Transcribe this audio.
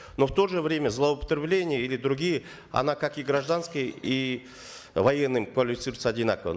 но в то же время злоупотребление или другие оно как и гражданские и военными квалифицируется одинаково